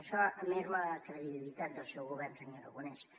això merma la credibilitat del seu govern senyor aragonès